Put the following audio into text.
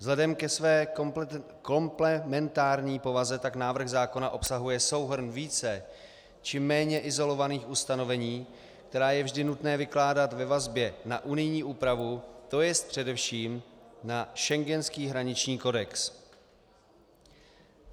Vzhledem ke své komplementární povaze tak návrh zákona obsahuje souhrn více či méně izolovaných ustanovení, která je vždy nutné vykládat ve vazbě na unijní úpravu, to jest především na schengenský hraniční kodex.